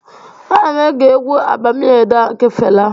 Ana m ege egwu 'Abami Eda' nke Fela